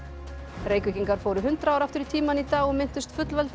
Reykvíkingar fóru hundrað ár aftur í tímann í dag og minntust